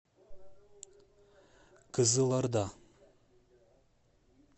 кызылорда